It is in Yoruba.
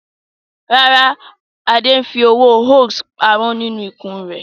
No, Ade is saving hios money in his belly